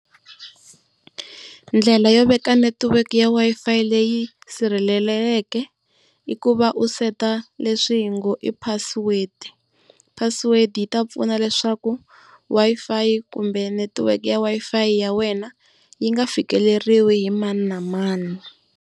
Ndlela yo veka network ya Wi-Fi leyi sirhelelekeke i ku va u seta leswi hi ngo i password. Password yi ta pfuna leswaku Wi-Fi kumbe netiweke ya Wi-Fi ya wena yi nga fikeleriwa hi mani na mani.